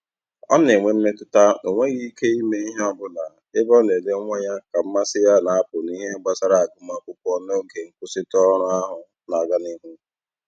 Ọ na-enwe mmetụta na o nweghị ike ime ihe ọbụla ebe ọ na-ele nwa ya ka mmasị ya na-apụ n'ihe gbasara agụmakwụkwọ n'oge nkwụsịtụ ọrụ ahụ na-aga n'ihu.